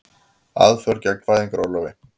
Aðför gegn fæðingarorlofi